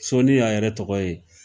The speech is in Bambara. Soni y'a yɛrɛ tɔgɔ ye